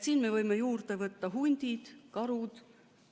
Siin me võime juurde võtta hundid, karud.